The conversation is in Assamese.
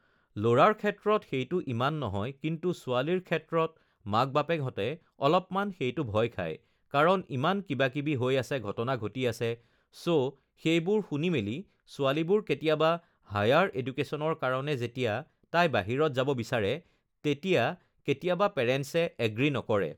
ল'ৰাৰ ক্ষেত্ৰত সেইটো ইমান নহয় কিন্তু ছোৱালীৰ ক্ষেত্ৰত মাক-বাপেকহঁতে অলপমান সেইটো ভয় খায় কাৰণ ইমান কিবাকিবি হৈ আছে ঘটনা ঘটি আছে ছ' সেইবোৰ শুনি মেলি ছোৱালীবোৰ কেতিয়াবা হায়াৰ এডুকেচনৰ কাৰণে যেতিয়া তাই বাহিৰত যাব বিচাৰে তেতিয়া কেতিয়াবা পেৰেণ্টছে এগ্ৰী নকৰে